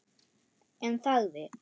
En þagði.